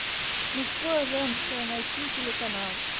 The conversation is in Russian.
мужское женское найти телеканал